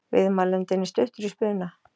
Viðmælandinn er stuttur í spuna.